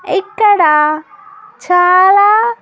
ఇక్కడ చాలా.